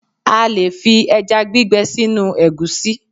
A lè fi ẹjá gbígbẹ sínú ègúsí